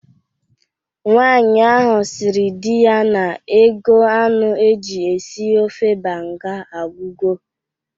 Nwaanyi ahụ sịrị dị ya na ego anụ e ji esi ofe banga agwugo